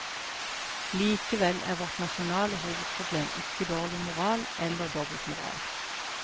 Likevel er vårt nasjonale hovedproblem ikke dårlig moral, eller dobbeltmoral.